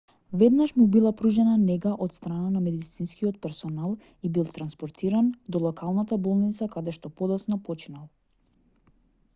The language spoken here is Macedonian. веднаш му била пружена нега од страна на медицинскиот персонал и бил транспортиран до локалната болница каде што подоцна починал